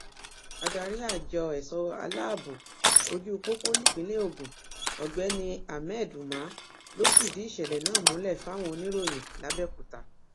adarí àjọ ẹṣọ aláàbọ ojú pópó nípínlẹ ogun ọgbẹni ahmed umar ló fìdí ìṣẹlẹ náà múlẹ fáwọn oníròyìn làbẹòkúta